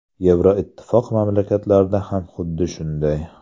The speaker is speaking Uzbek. Yevroittifoq mamlakatlarida ham xuddi shunday.